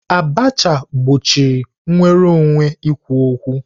Abacha gbochie nnwere onwe ikwu okwu.